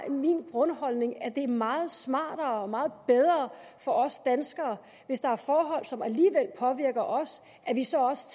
jo min grundholdning at det er meget smartere og meget bedre for os danskere hvis der er forhold som alligevel påvirker os at vi så også